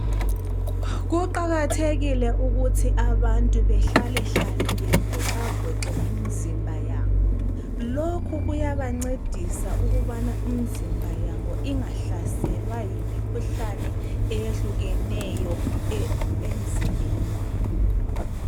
Kuqakathekile ukuthi abantu behlalehlale bevoxavoxe imizimba yabo. Lokhu kuyabancedisa ukubana imizimba yabo ingahlaselwa yimikhuhlane eyehlukeneyo emzimbeni yabo.